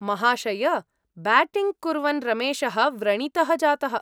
महाशय! ब्याटिङ्ग् कुर्वन् रमेशः व्रणितः जातः।